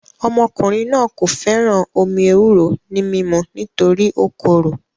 Ọmọkùnrin náà kò fẹ́ràn omí ewúro ní mímu nítorí ó korò